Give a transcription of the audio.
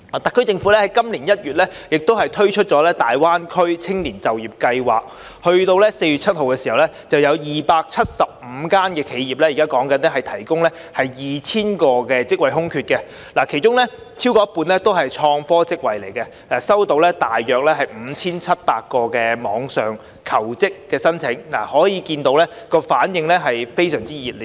特區政府在今年1月推出大灣區青年就業計劃，截至4月7日已有275間企業提供 2,000 個職位空缺，其中超過一半是創科職位，收到大約 5,700 個網上求職申請，可見反應是非常熱烈的。